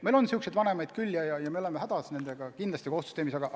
Meil on sääraseid vanemaid küll ja me oleme nendega kohtusüsteemis hädas.